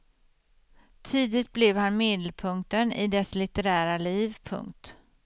Tidigt blev han medelpunkten i dess litterära liv. punkt